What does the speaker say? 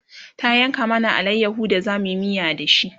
ta yanka mana alayaho da zamuyi miya da shi